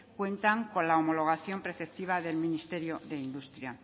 cuentan con la homologación preceptiva del ministerio de industria